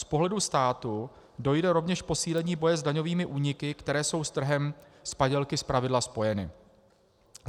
Z pohledu státu, dojde rovněž k posílení boje s daňovými úniky, které jsou s trhem s padělky zpravidla spojeny.